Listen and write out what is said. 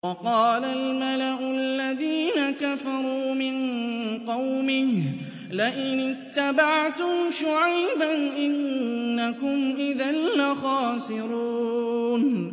وَقَالَ الْمَلَأُ الَّذِينَ كَفَرُوا مِن قَوْمِهِ لَئِنِ اتَّبَعْتُمْ شُعَيْبًا إِنَّكُمْ إِذًا لَّخَاسِرُونَ